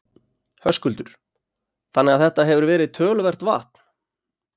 Höskuldur: Þannig að þetta hefur verið töluvert vatn?